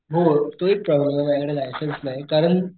हो तो एक कारण माझ्याकडे लायसन्स नाही कारण,